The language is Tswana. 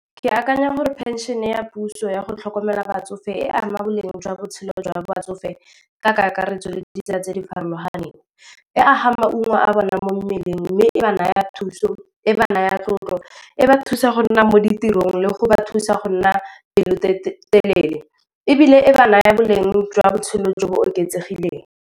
Ke akanya gore phenšene ya puso yago tlhokomela batsofe e ama boleng jwa botshelo jwa batsofe ka kakaretso le di ditsela tse di farologaneng, e aga maungo a bonang mo mmeleng, mme e ba naya thuso, e ba naya tlotlo, e ba thusa go nna mo ditirong le go ba thusa go nna pelotelele ebile e ba naya boleng jwa botshelo jo bo oketsegileng.